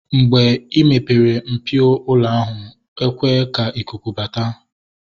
Mgbe ị mepere mpio ụlọ ahụ, ekwe ka ikuku bata